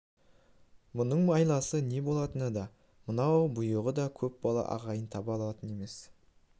мұның айласы не болатынын да мынау бұйығы көп бала ағайын таба алатын емес